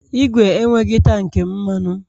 Ìgwè enweghị tank mmanụ